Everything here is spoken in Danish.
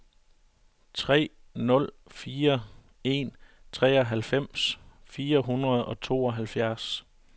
tre nul fire en treoghalvfems fire hundrede og tooghalvfjerds